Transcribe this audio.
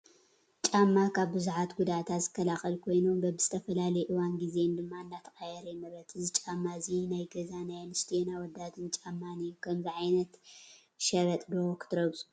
ጫማ ካብ ብዙሓት ጉድኣታት ዝከላኸል ኮይኑ በብዝተፈላለየ እዋንን ጊዜን ድማ እንዳተቐያየረ ይምረት፡፡ እዚ ጫማ እዚ ናይ ገዛ ናይ ኣንስትዮን ኣወዳትን ጫማ እዩ፡፡ ከምዚ ዓይነት ቨበጥ ዶ ክትረግፁ ትደልዩ?